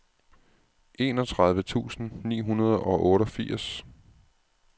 enogtredive tusind ni hundrede og otteogfirs